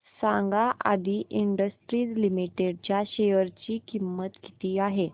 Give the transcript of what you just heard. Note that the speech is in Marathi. सांगा आदी इंडस्ट्रीज लिमिटेड च्या शेअर ची किंमत किती आहे